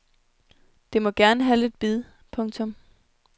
Det må gerne have lidt bid. punktum